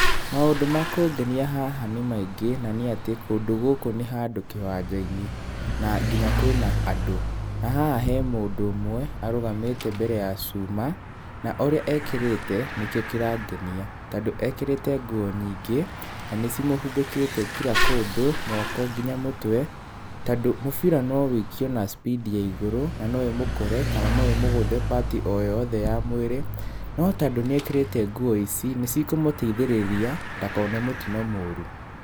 Maũndũ ma kũngenia haha nĩ maingĩ, na nĩ atĩ kũndũ gũkũ nĩ handũ kĩwanja-inĩ na nginya kwĩna andũ. Na haha hena mũndũ ũmwe arũgamĩte mbere ya cuma. Na ũrĩa ekĩrĩte nĩkĩo kĩrangenia, tondũ ekĩrĩte nguo nyingĩ na nĩcimũhumbĩkĩte kira kũndũ moko nginya mũtwe. Tondũ mũbira no wũikio na speed ya igũrũ, na no ũmũkore kana no ũmũgũthe part o yothe ya mwĩrĩ, no tondũ nĩekĩrĩte nguo ici nĩcikũmũteithĩrĩria ndakone mũtino mũru.